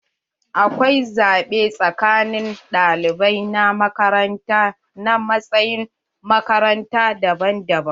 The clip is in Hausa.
Akwai zaɓe tsakanin ɗalibai na makaranta na matsayin makaranta daban daban.